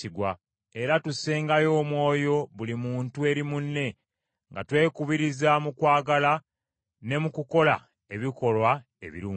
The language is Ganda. era tussengayo omwoyo buli muntu eri munne, nga twekubiriza mu kwagala ne mu kukola ebikolwa ebirungi.